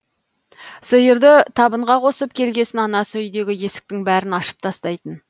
сиырды табынға қосып келгесін анасы үйдегі есіктің бәрін ашып тастайтын